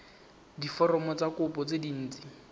diforomo tsa kopo tse dint